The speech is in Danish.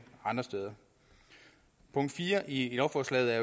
andre steder punkt fire i lovforslaget er